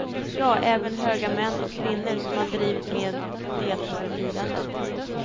Ja, även höga män och kvinnor som han drivit med deltar i firandet.